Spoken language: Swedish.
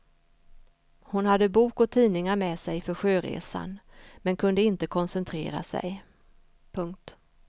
Hon hade bok och tidningar med sig för sjöresan men kunde inte koncentrera sig. punkt